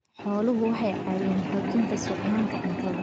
Xooluhu waxay caawiyaan xoojinta sugnaanta cuntada.